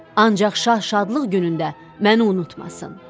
Ancaq şah şadlıq günündə məni unutmasın.